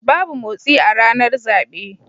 Babu motsi a ranar zabe.